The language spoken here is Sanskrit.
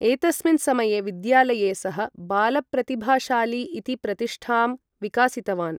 एतस्मिन् समये, विद्यालये, सः बालप्रतिभाशाली इति प्रतिष्ठां विकसितवान्।